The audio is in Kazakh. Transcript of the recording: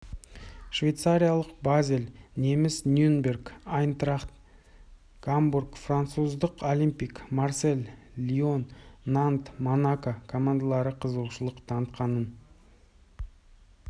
швейцариялық базель неміс нюрнберг айнтрахт гамбург француздардың олимпик марсель лион нант монако командалары қызығушылық танытқанын